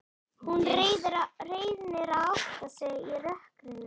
Hún reynir að átta sig í rökkrinu.